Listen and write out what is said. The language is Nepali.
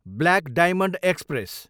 block diamond express